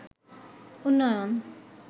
উন্নয়ন